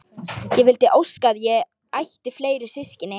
Ég vildi óska að ég ætti fleiri systkini.